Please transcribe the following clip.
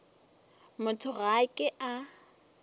motho ga a ke a